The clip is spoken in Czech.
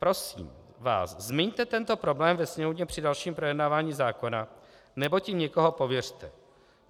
Prosím vás, zmiňte tento problém ve Sněmovně při dalším projednávání zákona nebo tím někoho pověřte.